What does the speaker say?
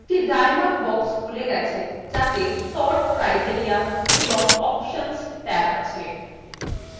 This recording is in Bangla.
একটি dialog box খুলে গেছে যাতে sort criteria এবং options ট্যাব আছে